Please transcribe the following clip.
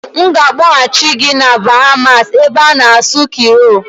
M ga-akpọghachị gị na Bahamas ebe ị na-asụ Kriiol